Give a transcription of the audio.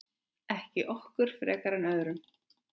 Ekki okkur frekar en öðrum.